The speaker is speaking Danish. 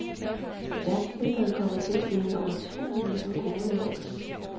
Verdensmesteren kommer til at tjene over to millioner kroner i år.